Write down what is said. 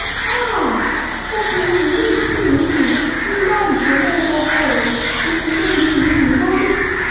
háà obìnrin yìí ṣì um ń gbá ìṣọ́ mọ́ ọmọ ọkọ ẹ̀ kékeré yìí um lórí